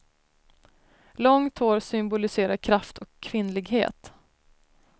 Långt hår symboliserar kraft och kvinnlighet.